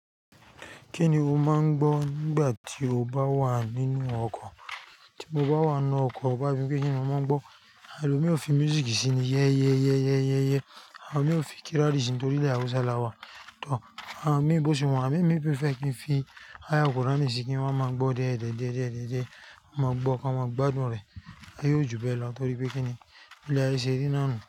Kí ni o máa ń gbọ́ nígbà tí o bá wà nínú ọkọ̀? Tí mo bá wà nínú ọkọ̀, ó bá se pé kí ni mo máa ń gbọ́? Elomii ó fi music síi ni "yẹ́yẹ́ yẹ́yẹ́ yẹ́yẹ́". Àwọn mio fi kírádì síi nítorí ilẹ̀ Hausa la wà. Àwọn míì bọ́ si wà, àmo emi prefer kí n fi aya kuránì síi kí n wa máa gbọ̀ diẹ̀ diẹ́ diẹ́ diẹ̀ diẹ́ diẹ́. N mo gbó kan, máa gbádùn rẹ̀, aye óò jùbe lọ torí pé kí ni? Ile aye ṣẹ́ri náà nu.